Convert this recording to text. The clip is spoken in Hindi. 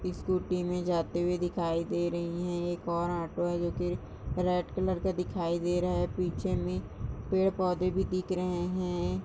स्कूटी में जाते हुए दिखाई दे रही है एक और ऑटो है जो की रेड कलर में दिखाई दे रहा है पीछे में पेड़ पौधा भी दिख रहे हैं।